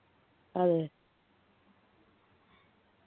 അതെ